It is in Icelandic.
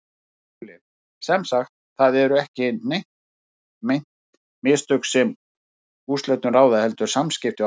SKÚLI: Sem sagt: það eru ekki meint mistök, sem úrslitum ráða, heldur samskipti okkar?